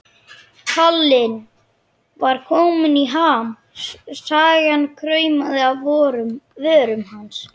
Kallinn var kominn í ham, sagan kraumaði á vörum hans.